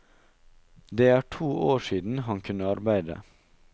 Det er to år siden han kunne arbeide.